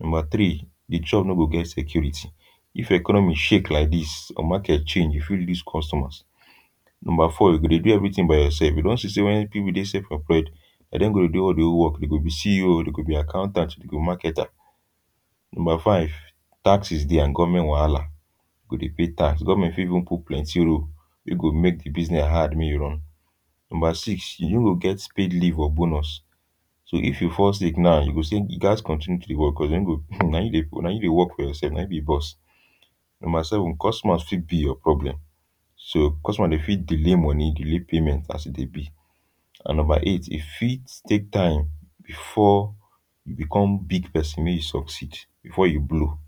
Number tri, de job no go get security. If economy shake like dis, your maket change, you fit loose customers. Number four, you go dey do everytin by yourself. You don see sey when pipul dey self-employed na dem go do all dey whole work, you go be CEO, you go be accountant, you go be marketer. Number five, taxes dey and government wahala. You go dey pay tax. Government fit don put plenty rule, you go make de business hard make you run. Number six, you no go get speed leave or bonus so if you fall sick now you go sey you gads continue to dey work well um na you, na you dey work for yourself, na you be boss. Number seven, customers fit be your problem, so customers, dem fit delay money, delay payment as e dey be. And number eight, e fit take time before you become big pesin make you succeed, before you blow.